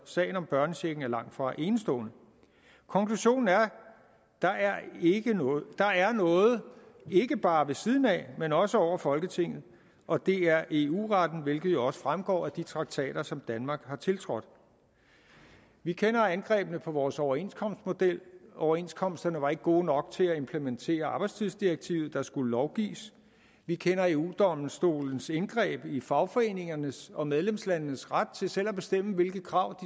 sagen om børnechecken er langtfra enestående konklusionen er at der er noget ikke bare ved siden af men også over folketinget og det er eu retten hvilket jo også fremgår af de traktater som danmark har tiltrådt vi kender angrebene på vores overenskomstmodel overenskomsterne var ikke gode nok til at implementere arbejdstidsdirektivet der skulle lovgives vi kender eu domstolens indgreb i fagforeningernes og medlemslandenes ret til selv at bestemme hvilke krav